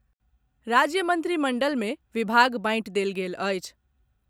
राज्य मंत्रिमंडल मे विभाग बांटि देल गेल अछि।